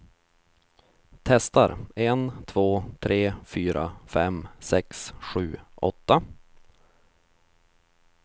Testar en två tre fyra fem sex sju åtta.